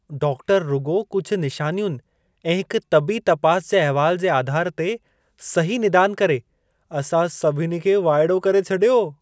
Doctor रुॻो कुझु निशानियुनि ऐं हिक तबी तपास जे अहिवाल जे आधार ते सही निदान करे, असां सभिनी खे वाइड़ो करे छॾियो।